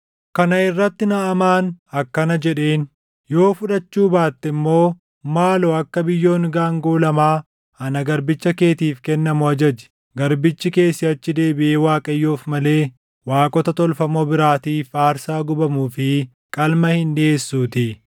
Kana irratti Naʼamaan akkana jedheen; “Yoo fudhachuu baatte immoo, maaloo akka biyyoon gaangoo lamaa ana garbicha keetiif kennamu ajaji; garbichi kee siʼachi deebiʼee Waaqayyoof malee waaqota tolfamoo biraatiif aarsaa gubamuu fi qalma hin dhiʼeessuutii.